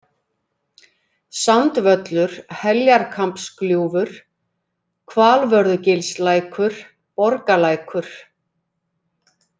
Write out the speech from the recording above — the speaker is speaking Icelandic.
Sandvöllur, Heljarkambsgljúfur, Hvalvörðugilslækur, Borgalækur